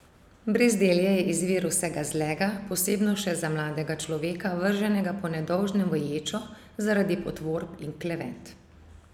Brezdelje je izvir vsega zlega, posebno še za mladega človeka, vrženega po nedolžnem v ječo zaradi potvorb in klevet.